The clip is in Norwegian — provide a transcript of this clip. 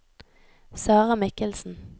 Sarah Michelsen